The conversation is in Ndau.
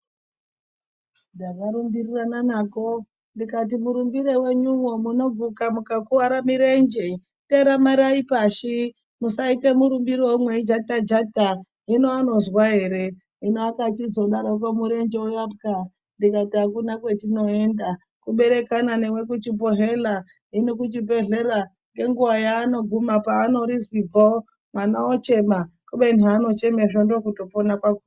Ndakarumbirirana nako, ndikati murumbire wenyuwo munoguka mukakuwara mirenje . Ndikati teramirayi pashi musaite murumbirewo mweijata jata. Hino anozwa ere ,hino akachizodaroko murenje uyapwa, ndikati akuna kwatinoenda kuberekana newe kuchibhedhlera. Hino kuchibhedhlera nenguya yaanoguma paanorizwigo mwana ochema kubeni haanochemazvo ndokutopona kwakona.